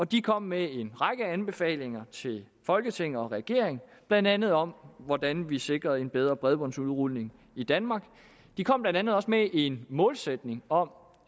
de kom med en række anbefalinger til folketinget og regeringen blandt andet om hvordan vi sikrer en bedre bredbåndsudrulning i danmark de kom blandt andet også med en målsætning om